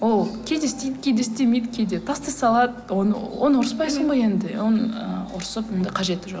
ол кейде істейді кейде істемейді кейде тастай салады оны оны ұрыспайсың ғой енді оны ы ұрысып енді қажеті жоқ